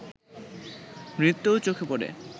নৃত্যও চোখে পড়ে